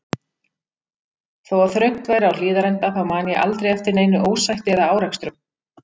Þó að þröngt væri á Hlíðarenda þá man ég aldrei eftir neinu ósætti eða árekstrum.